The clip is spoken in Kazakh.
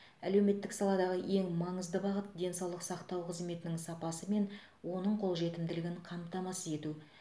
әлеуметтік саладағы ең маңызды бағыт денсаулық сақтау қызметінің сапасы мен оның қолжетімділігін қамтамасыз ету